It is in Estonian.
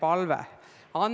Annely Akkermann, palun!